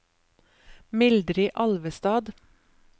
Mildrid Alvestad